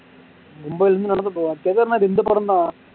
மும்பையில் இருந்து நடந்து போவாங்களா கேதார்நாத் இந்தப்பக்கம்தா